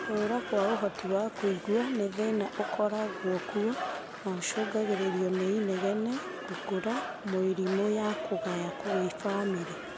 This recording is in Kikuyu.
Kũra gwa ũhoti wa kũigua, nĩ thĩna ũkoragwo kuo na ũcũngagĩrĩrio nĩ inegene, gũkũra, mĩrimũ na kũgaya kuma gwĩ bamĩrĩ